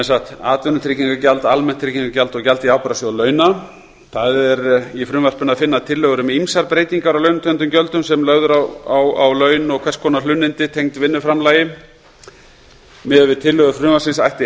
er atvinnutryggingagjald almennt tryggingagjald og gjald í ábyrgðasjóð launa í frumvarpinu er að finna tillögur um ýmsar breytingar á launatengdum gjöldum sem lögð eru á laun og hvers konar hlunnindi tengd vinnuframlagi miðað við tillögur frumvarpsins ætti